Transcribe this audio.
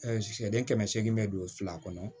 sɛden kɛmɛ segin bɛ don fila kɔnɔ